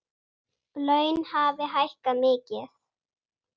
Laun hafi hækkað mikið.